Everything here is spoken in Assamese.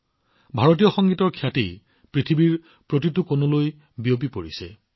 ভাৰতীয় সংগীতৰ খ্যাতি পৃথিৱীৰ প্ৰতিটো কোণলৈ বিয়পি পৰিছে